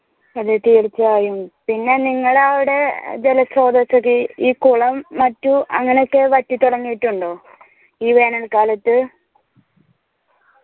അതെ തീർച്ചയായും പിന്നെ അവിടെ ജല സ്രോതസ് ഈ കുളം മറ്റു അങ്ങനൊക്കെ വറ്റി തൊടങ്ങീറ്റുണ്ടോ ഈ വേനൽ കാലത്ത്